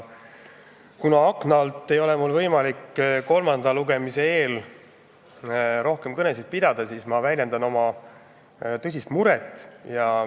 Kuna akna all istujal ei ole võimalik kolmanda lugemise eel rohkem kõnet pidada, siis ma väljendan nüüd oma tõsist muret.